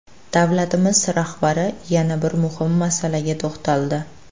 Davlatimiz rahbari yana bir muhim masalaga to‘xtaldi.